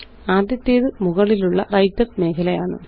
ആദ്യത്തേത് മുകളിലുള്ള വ്രൈട്ടർ മേഖലയാണ്